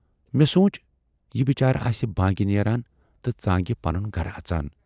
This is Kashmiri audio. مےٚ سونچ یہِ بِچارٕ آسہِ بانگہِ نیران تہٕ ژانگہِ پَنُن گَرٕ اَژان۔